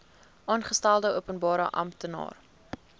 aangestelde openbare amptenaar